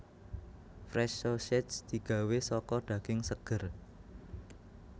Fresh Sausage digawé saka daging seger